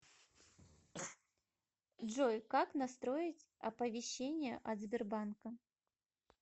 джой как настроить оповещение от сбербанка